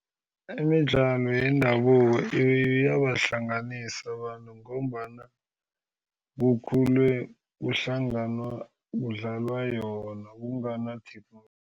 Imidlalo yendabuko iyabahlanganisa abantu ngombana kukhulwe kuhlanganwa kudlalwa yona kungana-T_V.